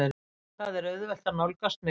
Það er auðvelt að nálgast mig.